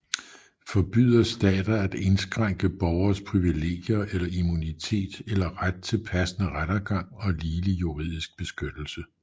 Forbyder stater at indskrænke borgeres privilegier eller immunitet eller ret til passende rettergang og ligelig juridisk beskyttelse